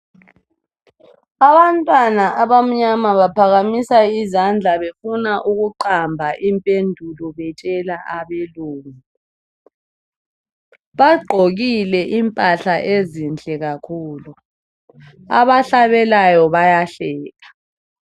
Abantwana abanyama baphakamisa izandla bebona ukuqamba impendulo betshela abelungu bagqokile impahla ezinhle kakhulu abahlabelayo bayahleka.